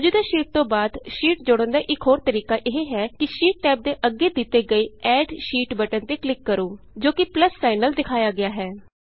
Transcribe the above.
ਮੌਜੂਦਾ ਸ਼ੀਟ ਤੋਂ ਬਾਅਦ ਸ਼ੀਟ ਜੋੜਨ ਦਾ ਇਕ ਹੋਰ ਤਰੀਕਾ ਇਹ ਹੈ ਕਿ ਸ਼ੀਟ ਟੈਬ ਦੇ ਅੱਗੇ ਦਿਤੇ ਗਏ add sheet add sheet button ਤੇ ਕਲਿਕ ਕਰੋ ਜੋ ਕਿ ਪਲੱਸ ਸਾਈਨ ਨਾਲ ਦਿਖਾਇਆ ਗਿਆ ਹੈ